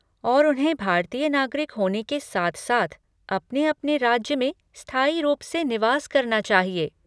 और उन्हें भारतीय नागरिक होने के साथ साथ अपने अपने राज्य में स्थायी रूप से निवास करना चाहिए।